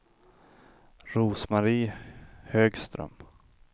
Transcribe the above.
Rose-Marie Högström